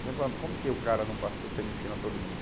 Então falava, como que o cara não passou se ele ensina todo mundo?